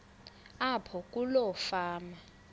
apho kuloo fama